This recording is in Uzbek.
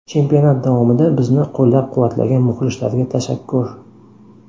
Chempionat davomida bizni qo‘llab-quvvatlagan muxlislarga tashakkur.